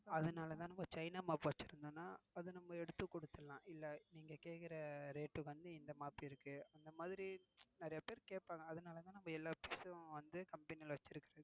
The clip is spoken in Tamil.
அதுனால தான் China mop வச்சிருத்தோம்னா அத நம்ம எடுத்து குடுத்திறலாம். இல்ல நீங்க கேக்கிற ரேட்க்கு வந்து இந்த mop இருக்கு. இந்த மாதிரி நிறய பேர் கேப்பாங்க. அதுனால தான் நம்ம எல்லா things யும் company ல வச்சிருக்கிறது